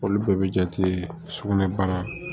Olu bɛɛ bɛ jate sugunɛbara